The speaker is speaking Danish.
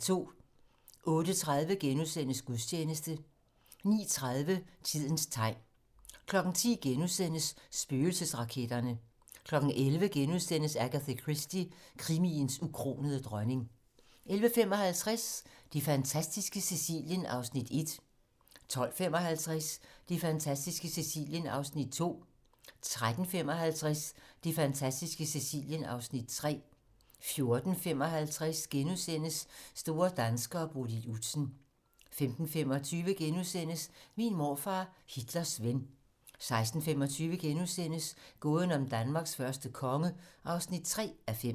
08:30: Gudstjeneste * 09:30: Tidens tegn 10:00: Spøgelsesraketterne * 11:00: Agatha Christie - krimiens ukronede dronning * 11:55: Det fantastiske Sicilien (Afs. 1) 12:55: Det fantastiske Sicilien (Afs. 2) 13:55: Det fantastiske Sicilien (Afs. 3) 14:55: Store danskere: Bodil Udsen * 15:25: Min morfar, Hitlers ven * 16:25: Gåden om Danmarks første konge (3:5)*